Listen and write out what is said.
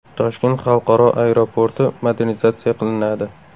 Toshkent xalqaro aeroporti modernizatsiya qilinadi.